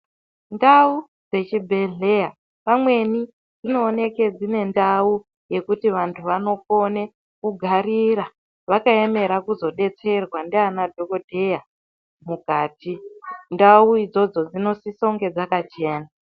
Ndau dzechibhedhleya pamweni dzinooneke dzine ndau yekuti vantu vanokone kugarira vakaemere kuzodetserwa ndiana dhokodheya mukati. Ndau idzodzo dzinosise kunge dzakachena.